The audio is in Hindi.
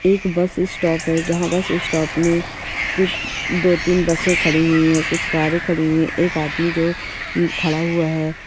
एक बस स्टॉप हैं जहाँ स्टॉप मे कुछ दो तीन बसे खड़ी हुई हैं कुछ कारे खड़ी हुई हैं एक आदमी जो खड़ा हुआ हैं।